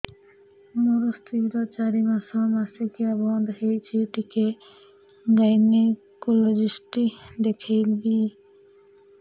ମୋ ସ୍ତ୍ରୀ ର ଚାରି ମାସ ମାସିକିଆ ବନ୍ଦ ହେଇଛି ଟିକେ ଗାଇନେକୋଲୋଜିଷ୍ଟ ଦେଖେଇବି